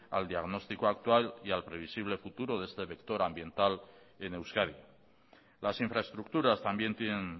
al diagnóstico actual y al previsible futuro de este vector ambiental en euskadi las infraestructuras también tienen